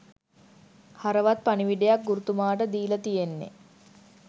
හරවත් පණිවිඩයක් ගුරුතුමාට දීල තියෙන්නෙ